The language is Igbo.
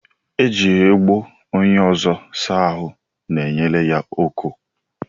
Iji ogbo onye ọzọ saa ahụ nyere ya ọkọ